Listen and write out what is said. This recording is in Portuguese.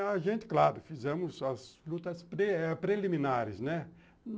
A gente, claro, fizemos as lutas pree preliminares, né?